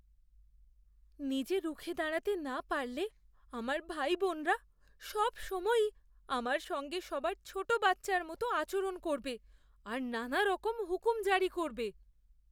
নিজে রুখে দাঁড়াতে না পারলে আমার ভাইবোনরা সবসময়ই আমার সঙ্গে সবার ছোটো বাচ্চার মতো আচরণ করবে আর নানারকম হুকুম জারি করবে।